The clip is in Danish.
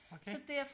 okay